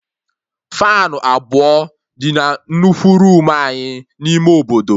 Faanụ abụọ dị na nnukwu roomu anyị n'ime obodo